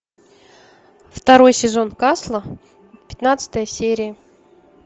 второй сезон касла пятнадцатая серия